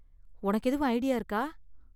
உனக்கு எதுவும் ஐடியா இருக்கா?